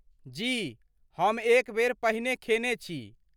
जी, हम एक बेर पहिने खेने छी।